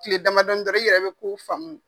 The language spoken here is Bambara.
Tile damadɔ dɔrɔnw, i yɛrɛ bɛ kow faamu.